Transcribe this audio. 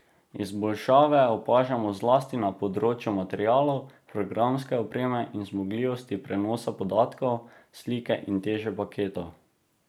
Izboljšave opažamo zlasti na področju materialov, programske opreme in zmogljivosti prenosa podatkov, slike in teže paketov.